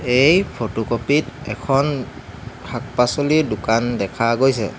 এই photocopy ত এখন শাক-পাচলিৰ দোকান দেখা গৈছে।